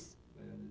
Baião de